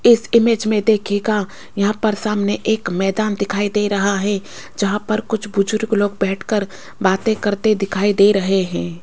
इस इमेज में देखिएगा यहां पर सामने एक मैदान दिखाई दे रहा है जहां पर कुछ बुजुर्ग लोग बैठकर बातें करते दिखाई दे रहें हैं।